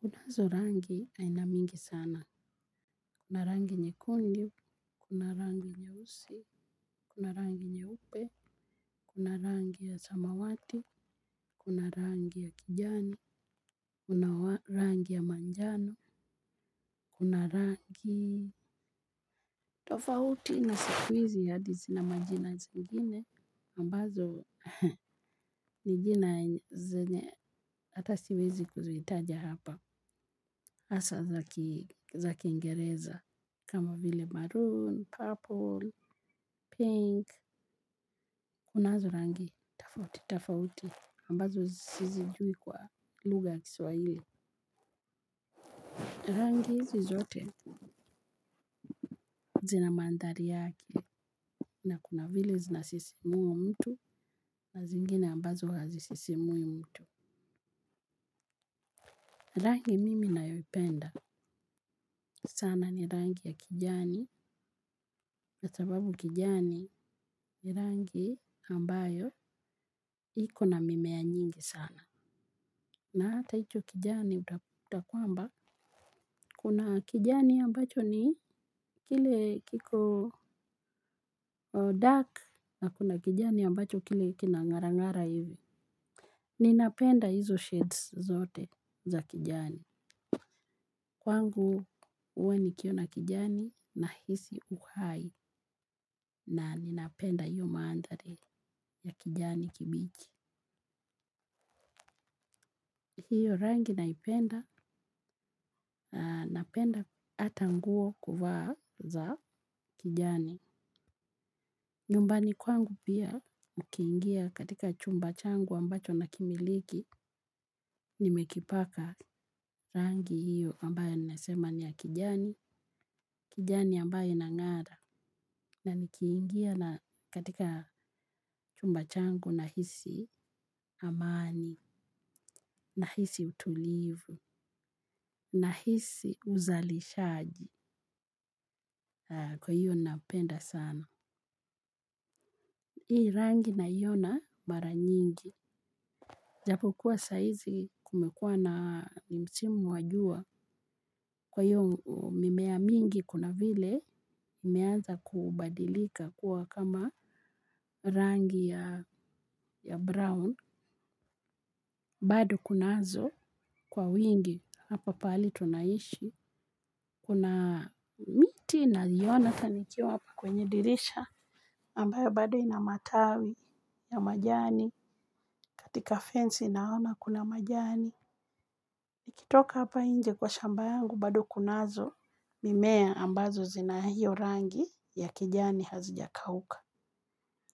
Kunazo rangi ainamingi sana. Kuna rangi nyekundu, kuna rangi nye usi, kuna rangi nye upe, kuna rangi ya samawati, kuna rangi ya kijani, kuna rangi ya manjano, kuna rangi tofauti na siku hizi hadi zina majina zingine ambazo ni jina zenye hata siwezi kuzitaja hapa. Hasa za kingereza kama vile maroon, purple, pink. Kunazo rangi tofauti tofauti ambazo sizijui kwa lugha ya kiswahili. Rangi hizi zote zina mandhari yake na kuna vile zina sisimua mtu na zingine ambazo hazisisimui mtu. Rangi mimi nayoipenda sana ni rangi ya kijani, kwa sababu kijani ni rangi ambayo iko na mimea nyingi sana. Na hata hicho kijani utakuta kwamba kuna kijani ambacho ni kile kiko dark na kuna kijani ambacho kile kina ng'ara ng'ara hivi. Ninapenda hizo shades zote za kijani. Kwangu huwa nikiona kijani nahisi uhai na ninapenda hiyo mandhari ya kijani kibichi. Hiyo rangi naipenda, napenda hata nguo kuvaa za kijani. Nyumbani kwangu pia ukiingia katija chumba changu ambacho nakimiliki, nimekipaka rangi hiyo ambayo ninasema ni ya kijani, kijani ambayo inang'ara. Na nikiingia katika chumba changu nahisi amani, nahisi utulivu, nahisi uzalishaji kwa hivyo napenda sana. Hii rangi naiona mara nyingi. Japo kuwa saizi kumekua na ni msimu wa jua. Kwa hiyo mimea mingi kuna vile imeanza kubadilika kuwa kama rangi ya brown. Bado kunazo kwa wingi hapa pahali tunaishi. Kuna miti naiona hata nikiwa hapa kwenye dirisha. Ambayo bado ina matawi ya majani. Katika fensi naona kuna majani. Ukitoka hapa nje kwa shamba yangu, bado kunazo mimea ambazo zina hiyo rangi ya kijani hazijakauka.